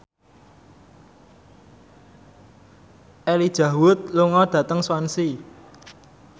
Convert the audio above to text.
Elijah Wood lunga dhateng Swansea